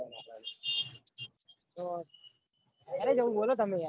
માં હાલ બધા જઈએ ક્યાં જાઉં અંકલ ખબર